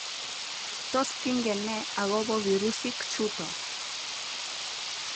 tos kingen ne akobo virusik chuto?